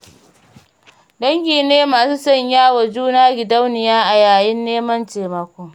Dangi ne masu sanya wa juna gidauniya a yayin neman taimako.